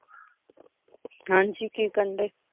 ਹਾਂ ਜੀ ਕੀ ਕਰਨ ਡਏ?